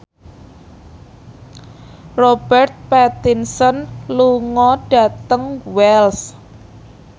Robert Pattinson lunga dhateng Wells